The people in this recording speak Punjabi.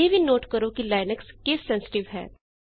ਇਹ ਵੀ ਨੋਟ ਕਰੋ ਕਿ ਲਿਨਕਸ ਕੇਸ ਸੈਂਸਟਿਵ ਹੈ